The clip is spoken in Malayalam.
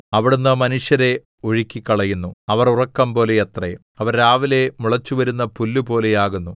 അവിടുന്ന് മനുഷ്യരെ ഒഴുക്കിക്കളയുന്നു അവർ ഉറക്കംപോലെ അത്രേ അവർ രാവിലെ മുളച്ചുവരുന്ന പുല്ലുപോലെ ആകുന്നു